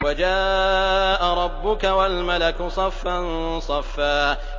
وَجَاءَ رَبُّكَ وَالْمَلَكُ صَفًّا صَفًّا